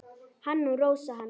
Hann og Rósa hans.